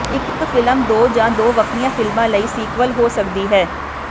ਇੱਕ ਫਿਲਮ ਦੋ ਜਾਂ ਦੋ ਵੱਖਰੀਆਂ ਫਿਲਮਾਂ ਲਈ ਸੀਕਵਲ ਹੋ ਸਕਦੀ ਹੈ